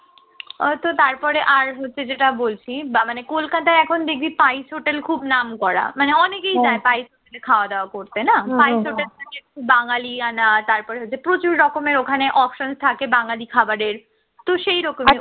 ও তো তারপরে আর তুই যেটা বলছিস বা মানে কলকাতায় এখন দেখবি spice hotel খুব নামকরা মানে অনেকেই যায় spice খাওয়া দাওয়া করতে না spice hotel বাঙালিয়ান তারপরে ওদের প্রচুর রকমের ওখানে option থাকে বাঙালি খাবারের, তো সেই রকম